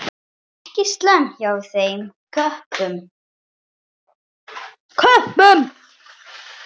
Ekki slæmt hjá þeim köppum.